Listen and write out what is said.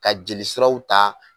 Ka jeli siraw ta